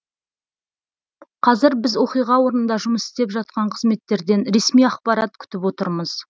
қазір біз оқиға орнында жұмыс істеп жатқан қызметтерден ресми ақпарат күтіп отырмыз